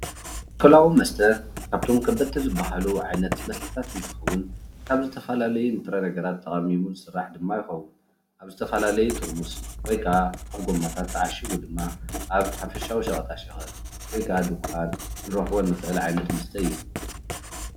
ኣልኮላዊ መስተ ካብቶም ከበድቲ ዝበሃሉ ዓይነታት መስተታት እንትኸውን ካብ ዝተፈላለዩ ንጥረ ነገራት ተቃሚሙ ዝስራሕ ድማ ይኸውን። አብ ዝተፈላለዩ ጥርሙዝ ወይክዓ ኣብ ጎማታት ተዓሽጉ ድማ አብ ሓፈሻዊ ሸቀጣ ሸቀጥ ወይክዓ ድንኳን ክንረክቦ እንክእል ዓይነት መስተ እዩ፡፡